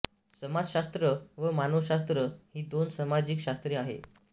समाजषास्त्र व मानवषास्त्र ही दोन सामाजिक शास्त्रे आहेत